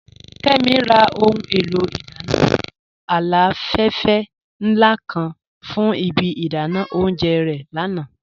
Kẹ́mí rà ọhun è̩lò̩ idànna aláfèfè nla kan fún ìbí idànà ọ̀unjẹ́ re lànà.